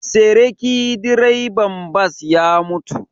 Seriki direban bas ya mutu